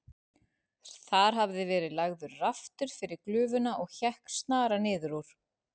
Þar hafði verið lagður raftur yfir glufuna og hékk snara niður úr.